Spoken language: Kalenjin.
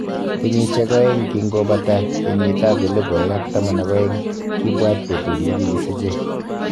Kenyisiek oeng king'o bataita kenyit 2012,kibwat betut negi kisiche.